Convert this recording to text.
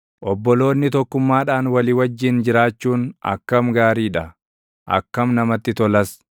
Obboloonni tokkummaadhaan walii wajjin jiraachuun, akkam gaarii dha! Akkam namatti tolas!